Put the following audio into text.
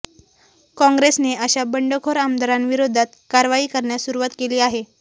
कॉंग्रेसने अशा बंडखोर आमदारांविरोधात कारवाई करण्यास सुरुवात केली आहे